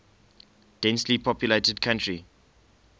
densely populated country